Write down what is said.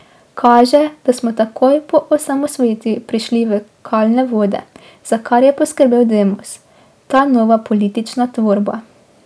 Kaže, da smo takoj po osamosvojitvi prešli v kalne vode, za kar je poskrbel Demos, ta nova politična tvorba.